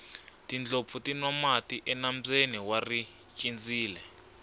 tindlopfu ti nwa mati enambyeni wa richindzile